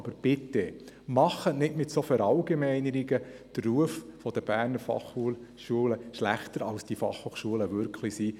Aber bitte, machen Sie mit solchen Verallgemeinerungen nicht den Ruf der BFH schlechter als es die Fachhochschulen wirklich sind.